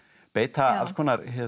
beita alls konar